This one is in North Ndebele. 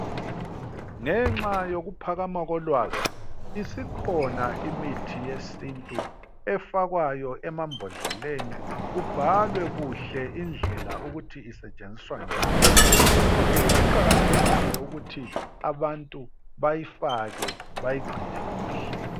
Ngenxa yokuphakama kolwazi isikhona imithi yesiNtu efakwayo emambodleleni kubhalwe kuhle indlela ukuthi isetshenziswa njani. Yikho ke kuqakathekile ukuthi abantu bayifake bayigcine kuhle.